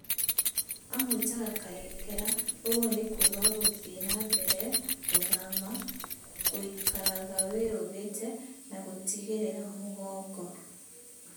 Aamwĩtaga Kayekera, ũguo nĩ kuuga "Gũthiĩ na Mbere Gũthama, Gũikaraga Wĩiguĩte, na Gũtigĩrĩra Mũgongo).